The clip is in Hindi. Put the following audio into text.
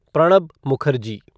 प्रणब मुखर्जी